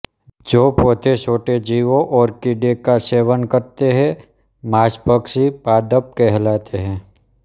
जो पौधे छोटे जीवों और कीड़े का सेवन करते हैं मांसभक्षी पादप कहलाते है